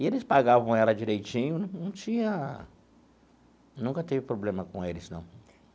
E eles pagavam ela direitinho, não não tinha... Nunca teve problema com eles, não.